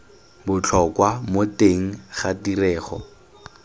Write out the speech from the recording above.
botlhokwa mo teng ga tirego